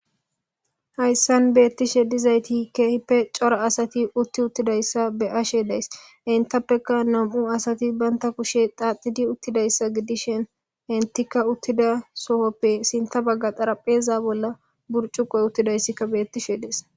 Hayssan beeththishe dizaythi keehippe cora asathi uththi uththidayssa be7ashe de7ays; henththappeka nam7u asathi banththa kushe xaaxidi uththidayssa gidishen henththikka uththida sohoppe sinththa bagga xarapheza bolla burccuqqoy uththidayssikka beeththishe de7ees.